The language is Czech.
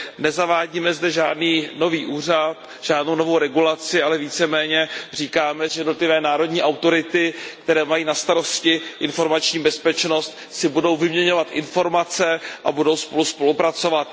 Nezavádíme zde žádný nový úřad, žádnou novou regulaci, ale více méně říkáme, že jednotlivé národní autority, které mají na starosti informační bezpečnost, si budou vyměňovat informace a budou spolu spolupracovat.